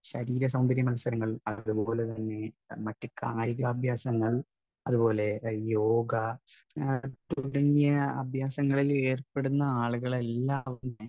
speaker 1 ശരീര സൗന്ദര്യ മത്സരങ്ങൾ, അതുപോലെതന്നെ മറ്റു കായികാഭ്യാസങ്ങൾ, അതുപോലെ യോഗ, തുടങ്ങിയ അഭ്യാസങ്ങളിൽ ഏർപ്പെടുന്ന ആളുകൾ എല്ലാവരും തന്നെ